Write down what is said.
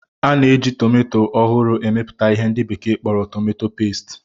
A na-eji tomanto ohuru emeputa ihe ndi bekee kporo "tomanto paste"